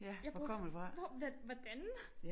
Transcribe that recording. Jeg burde hvor vent hvordan?